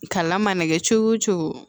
Kalan mana kɛ cogo o cogo